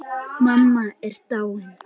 Mamma er dáin.